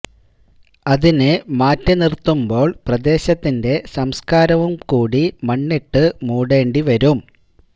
അതിനെ മാറ്റി നിറുത്തുമ്പോള് പ്രദേശത്തിന്റെ സംസ്കാരവും കൂടി മണ്ണിട്ടു മൂടേണ്ടി വരും